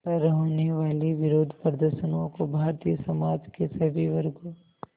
पर होने वाले विरोधप्रदर्शनों को भारतीय समाज के सभी वर्गों